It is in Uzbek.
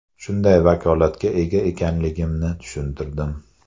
Shunday vakolatga ega ekanligimni tushuntirdim.